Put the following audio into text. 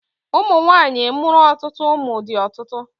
Ụmụ nwaanyị mụrụ otụtụ ụmụ dị ọtụtụ.